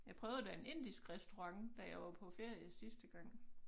Jeg prøvede da en indisk restaurant da jeg var på ferie sidste gang